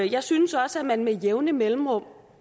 jeg synes også at man med jævne mellemrum